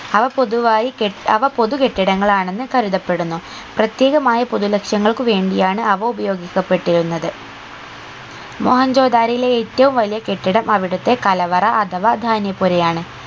അവ പൊതുവായി കെ അവ പൊതു കെട്ടിടങ്ങൾ ആന്നെന്ന് കരുതപ്പെടുന്നു പ്രത്യേകമായ പൊതു ലക്ഷ്യങ്ങൾക്ക് വേണ്ടിയാണ് അവ ഉപയോഗിക്കപ്പെട്ടിരുന്നത് മോഹൻജോ ദാരോയിലെ ഏറ്റവും വലിയ കെട്ടിടം അവിടത്തെ കലവറ അഥവാ ധാന്യപ്പുരയാണ്